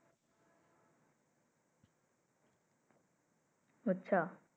বুঝছ।